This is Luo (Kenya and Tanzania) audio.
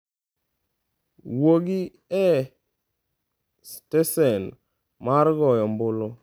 Wuogi e stesen mar goyo ombulu.